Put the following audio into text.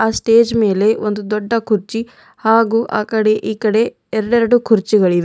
Stage ಮೇಲೆ ಒಂದು ದೊಡ್ಡ ಕುರ್ಚಿ ಹಾಗು ಆಕಡೆ ಈಕಡೆ ಎರಡೇರಡು ಕುರ್ಚಿಗಳಿವೆ.